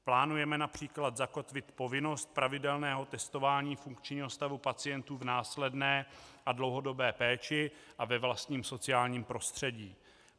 Plánujeme například zakotvit povinnost pravidelného testování funkčního stavu pacientů v následné a dlouhodobé péči a ve vlastním sociálním prostředí.